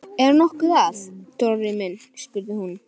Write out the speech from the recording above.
Er nokkuð að, Dóri minn? spurði hún.